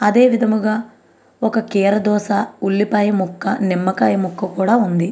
అదే విధముగా ఒక కీరా దోస ఉల్లిపాయ ముక్క నిమ్మకాయ ముక్క కూడా ఉంది .